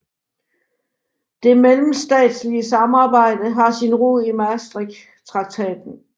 Det mellemstatslige samarbejde har sin rod i Maastrichttraktaten